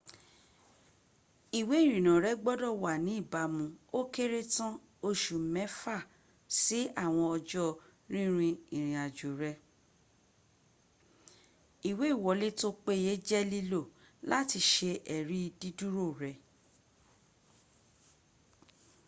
ìwé ìrìnnà rẹ gbodò wà ní ìbámu o kéré tan osu mẹfa si àwọn ọjọ́ rínrin ìrin-àjò rẹ ìwé ìwọlé tọ péyẹ jẹ lílò làti sẹ èrí dídúró rẹ